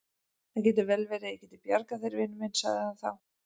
Það getur vel verið að ég geti bjargað þér, vinur minn sagði hann þá.